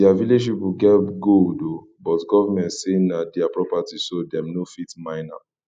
dia village people get gold oo but government say na dia property so dem no fit mine am